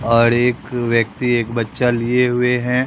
और एक व्यक्ति एक बच्चा लिए हुए हैं।